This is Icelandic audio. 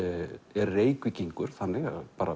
er Reykvíkingur þannig